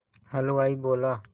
हलवाई बोला